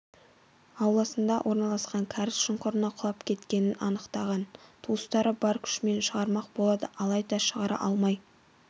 ауласында орналасқан кәріз шұңқырына құлап кеткенін анықтаған туыстары бар күшімен шығармақ болады алайда шығара алмай